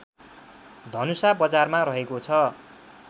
धनुषा बजारमा रहेको छ